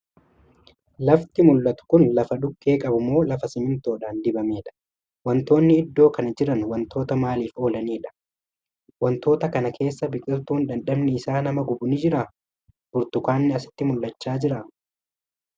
Lafti mul'atu Kuni lafa dhukkee qabu moo laf simintoodhaan dibameedha?. Wantoonni iddoo Kan Jiran wantoota maaliif oolaniidha?.wantoota Kana keessa biqiltuun dhandhamni Isaa nama gubu ni jiraa? Burtukaanni asitti mul'achaa jiraa?.